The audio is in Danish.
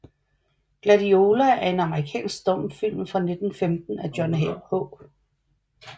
Gladiola er en amerikansk stumfilm fra 1915 af John H